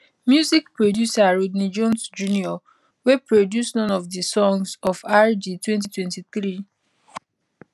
music producer rodney jones jr wey produce none of di songs ofr di 2023